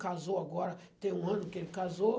Casou agora, tem um ano que ele casou.